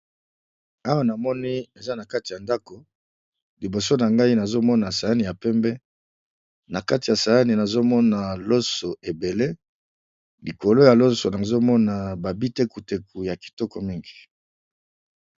awa namoni eza na kati ya ndako liboso na ngai nazomona sayani ya pembe na kati ya sayani nazomona loso ebele likolo ya loso nazomona babitekuteku ya kitoko mingi